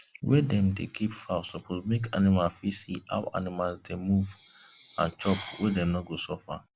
wey dem dey keep fowl suppose make farmer fit see how animals dey move and chop wey dem no go suffer